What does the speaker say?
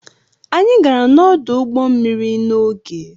Anyị gara n'ọdụ ụgbọ mmiri n'oge.